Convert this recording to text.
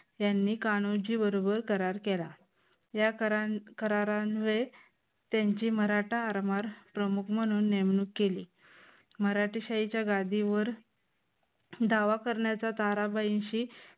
त्यांनी कान्होजी बरोबर करार केला. या करा करारा अन्वये त्यांची मराठा आरमार प्रमुख म्हणून नेमणूक केली. मराठे शाहीच्या गादीवर दावा करण्याचा ताराबाईंशी